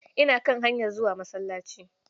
Ina kan hanyar zuwa masallaci.